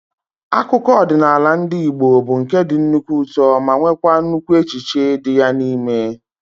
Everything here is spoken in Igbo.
Akụkọ ọdịnala ndị Igbo bụ nke dị nnukwu ụtọ ma nweekwa nnukwu echiche dị ya n'ime